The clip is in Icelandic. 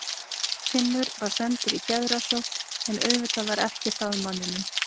Úr varð svefnlaus nótt full af uppljómuðum skýjakljúfum og ilmandi böngsum í ísköldum gámi.